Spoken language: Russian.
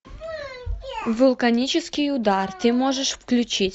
вулканический удар ты можешь включить